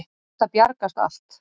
Þetta bjargast allt.